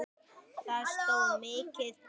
Það stóð mikið til.